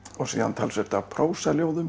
og síðan talsvert af